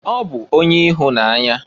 Ọ bụ onye ịhụnanya.